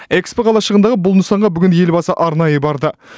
экспо қалашығындағы бұл нысанға бүгін елбасы арнайы барды